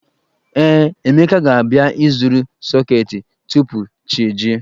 Ee, Emeka ga-abịa ịzụrụ sọketi tupu chi ejie